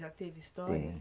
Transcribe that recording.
Já teve histórias? Tem